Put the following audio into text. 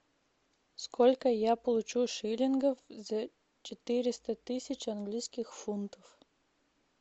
сколько я получу шиллингов за четыреста тысяч английских фунтов